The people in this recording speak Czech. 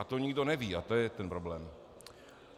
A to nikdo neví a to je ten problém.